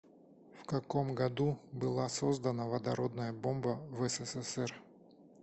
в каком году была создана водородная бомба в ссср